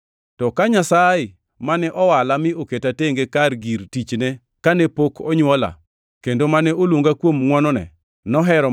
To ka Nyasaye, mane owala mi oketa tenge kaka gir tichne kane pok onywola, kendo mane oluonga kuom ngʼwonone, nohero